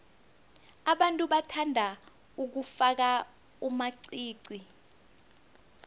abantu bathanda ukufaka amaqiqi